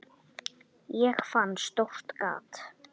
Ég fann stórt gat.